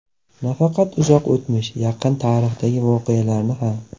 Nafaqat uzoq o‘tmish, yaqin tarixdagi voqealarni ham.